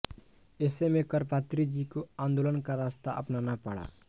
ऐसे में करपात्रीजी को आंदोलन का रास्ता अपनाना पड़ा